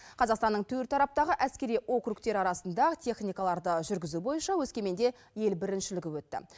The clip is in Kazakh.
қазақстанның төрт тараптағы әскери округтері арасында техникаларды жүргізу бойынша өскеменде ел біріншілігі өтті